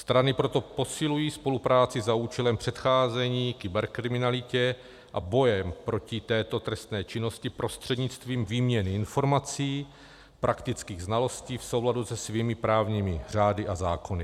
Strany proto posilují spolupráci za účelem předcházení kyberkriminalitě a boje proti této trestné činnosti prostřednictvím výměny informací, praktických znalostí v souladu se svými právními řády a zákony.